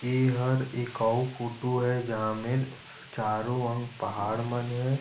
ईहार ए आऊ फोटु हे जाहा मेर चारो वोर पहाड़ मन हे ।